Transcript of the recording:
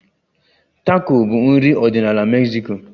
Tako bụ nri ọdịnala Mexico